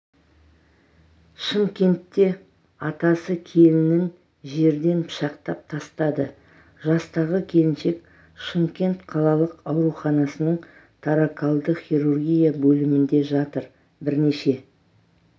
шымкентте атасы келінін жерден пышақтап тастады жастағы келіншек шымкент қалалық ауруханасының торакалды хирургия бөлімінде жатыр бірнеше